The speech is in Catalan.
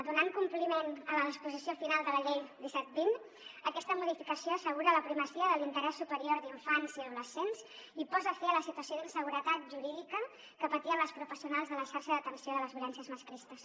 donant compliment a la disposició final de la llei disset vint aquesta modificació assegura la primacia de l’interès superior d’infants i adolescents i posa fi a la situació d’inseguretat jurídica que patien les professionals de la xarxa d’atenció de les violències masclistes